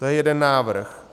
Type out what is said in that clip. To je jeden návrh.